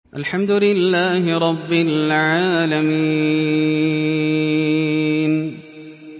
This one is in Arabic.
الْحَمْدُ لِلَّهِ رَبِّ الْعَالَمِينَ